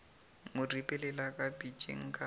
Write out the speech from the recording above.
mo ripelela ka pitšeng ka